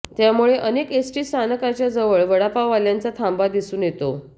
त्यामुळे अनेक एसटी स्थानकाच्या जवळ वडापवाल्यांचा थांबा दिसून येतो